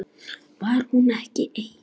Var hún ekki ein?